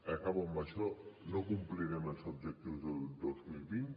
acabo amb això no complirem els objectius del dos mil vint